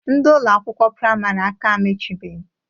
Ndị Ụlọ akwụkwọ praịmarị aka emechibeghi.